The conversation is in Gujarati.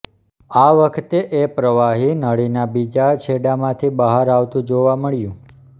આ વખતે એ પ્રવાહી નળીના બીજા છેડામાંથી બહાર આવતું જોવા મળ્યું